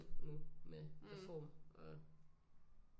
Nu med reform og